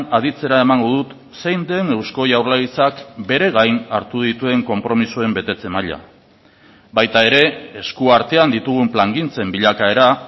aditzera emango dut zein den eusko jaurlaritzak bere gain hartu dituen konpromisoen betetze maila baita ere esku artean ditugun plangintzen bilakaera